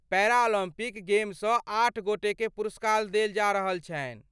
Paralympic गेमसँ आठ गोटेकेँ पुरस्कार देल जा रहल छनि।